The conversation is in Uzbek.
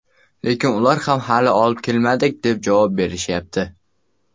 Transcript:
Lekin ular ham hali olib kelmadik, deb javob berishyapti.